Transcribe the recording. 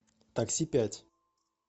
такси пять